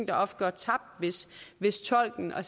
der ofte går tabt hvis hvis tolken og